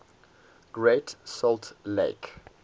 great salt lake